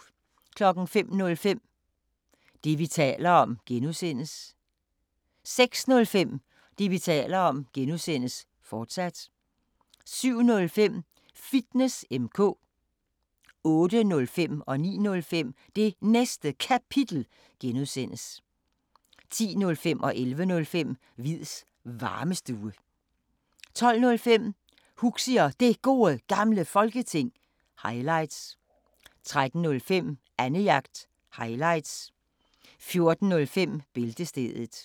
05:05: Det, vi taler om (G) 06:05: Det, vi taler om (G), fortsat 07:05: Fitness M/K 08:05: Det Næste Kapitel (G) 09:05: Det Næste Kapitel (G) 10:05: Hviids Varmestue 11:05: Hviids Varmestue 12:05: Huxi og Det Gode Gamle Folketing – highlights 13:05: Annejagt – highlights 14:05: Bæltestedet